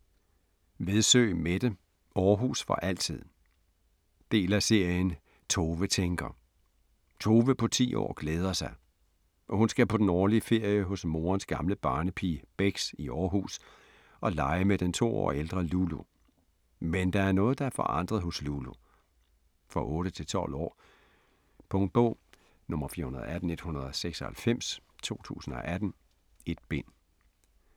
Vedsø, Mette: Aarhus for altid Del af serien Tove tænker. Tove på ti år glæder sig. Hun skal på den årlige ferie hos morens gamle barnepige Bex i Aarhus og lege med den 2 år ældre Lulu. Men der er noget, der er forandret hos Lulu. For 8-12 år. Punktbog 418196 2018. 1 bind.